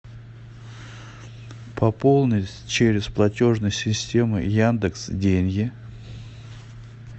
пополнить через платежную систему яндекс деньги